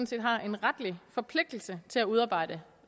set har en retlig forpligtelse til at udarbejde